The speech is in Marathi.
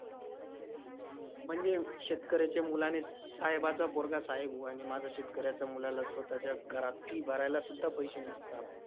म्हणजे शेतकऱ्याच्या मुलाने स~ साहेबाचा पोरगा साहेब हो आणि माझा शेतकऱ्याचा मुलाला स्वतःच्या घरात fee भरायला सुद्धा पैशे नसता.